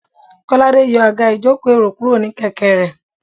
kolade yòò agá ìjokò- erò kuro ní kẹkẹ re